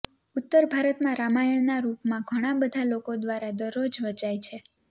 ઉત્તર ભારત માં રામાયણના રૂપમાં ઘણા બધા લોકો દ્વારા દરરોજ વંચાય છે